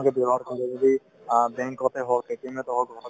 যদি অ bank তে হওক meeting তে হওক